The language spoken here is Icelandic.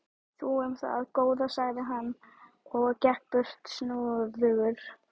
Þú um það, góða, sagði hann og gekk burt snúðugt.